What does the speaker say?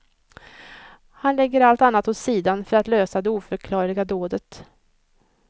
Han lägger allt annat åt sidan för att lösa det oförklarliga dådet.